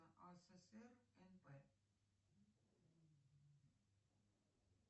асср нп